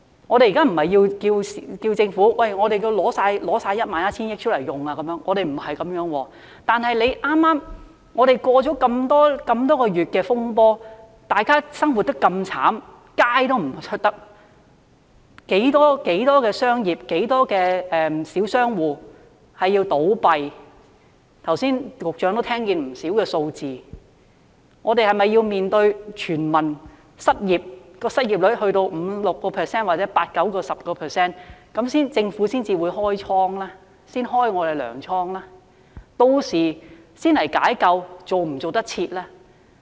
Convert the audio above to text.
我們現時並非要求政府把 11,000 億元全數拿出來運用，不是這樣，但我們剛經歷那麼多個月的風波，大家生活得那麼淒慘，市民不敢外出，很多小商戶倒閉——相信局長剛才也聽到不少數字——我們是否須面對市民失業，在失業率上升到 5%、6%， 甚至 8% 至 10% 時，政府才開放糧倉呢？